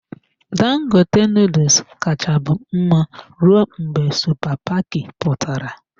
Dangote noodles kacha bụ mma rụọ mgbe supa paki pụtara.